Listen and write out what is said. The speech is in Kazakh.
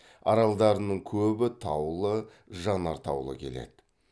аралдарының көбі таулы жанартаулы келеді